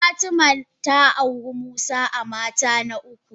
Fatima ta auri musa a mata na uku.